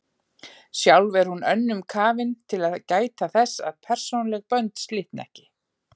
Sjálf er hún of önnum kafin til að gæta þess að persónuleg bönd slitni ekki.